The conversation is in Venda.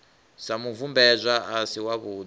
sa mubvumbedzwa a si wavhudi